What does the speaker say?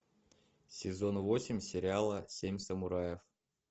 сезон восемь сериала семь самураев